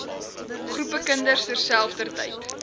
groepe kinders terselfdertyd